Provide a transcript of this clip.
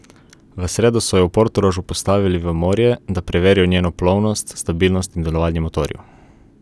V sredo so jo v Portorožu postavili v morje, da preverijo njeno plovnost, stabilnost in delovanje motorjev.